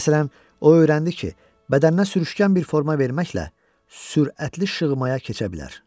Məsələn, o öyrəndi ki, bədəninə sürüşkən bir forma verməklə sürətli şığmaya keçə bilər.